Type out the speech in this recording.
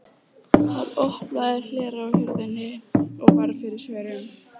Hann opnaði hlera á hurðinni og varð fyrir svörum.